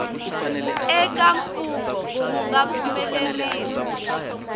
eka mfungho wu nga pfumeleriwa